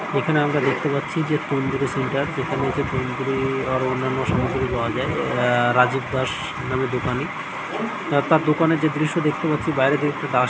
এখানে আমরা দেখতে পাচ্ছি যে তন্দুরি সেন্টার যেখানে তন্দুরি-- আরো অন্যান্ন সামগ্রী পাওয়া যায় রাজীব দাসের নামে দোকানী তার দোকানে যে দৃশ্য দেখতে পাচ্ছি বাইরে--